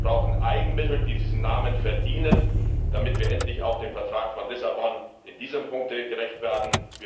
Wir brauchen Eigenmittel, die diesen Namen verdienen, damit wir endlich auch dem Vertrag von Lissabon in diesem Punkt gerecht werden.